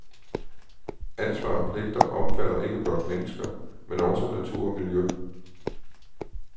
Ansvar og pligter omfatter ikke blot mennesker, men også natur og miljø.